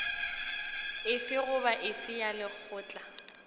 efe goba efe ya lekgotla